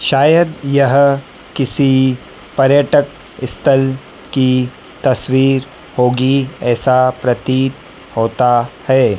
शायद यह किसी पर्यटक स्थल की तस्वीर होगी ऐसा प्रतीत होता है।